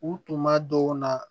U tuma dɔw la